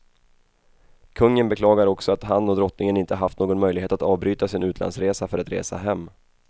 Kungen beklagar också att han och drottningen inte haft någon möjlighet att avbryta sin utlandsresa för att resa hem.